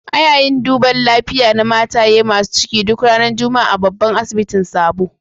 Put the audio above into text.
Ana yin duban lafiya na mataye masun ciki duk ranan Juma'a a'babban asibitin Sabo.